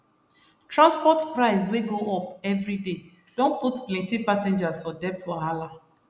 transport price wey go up every day don put plenty passengers for debt wahala